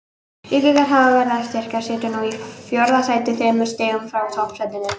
Víkingar hafa verið að styrkjast, sitja nú í fjórða sæti þremur stigum frá toppsætinu.